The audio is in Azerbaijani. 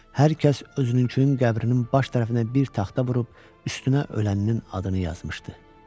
Hər kəs özününkünün qəbrinin baş tərəfinə bir taxta vurub üstünə ölənin adını yazmışdı.